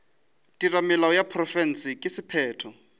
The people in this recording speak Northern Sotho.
theramelao ya profense ka sephetho